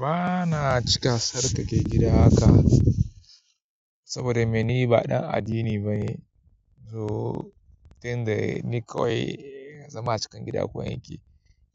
Ba na cika tsarkake gida haka, saboda me ni ba ɗan addini bane. So tun da ni kawai zama a cikin gida kawai nake.